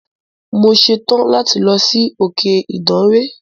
Mo ṣetán láti lọ sí òkè Ìdànre.